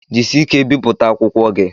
Jisie ike bipụta akwụkwọ gi!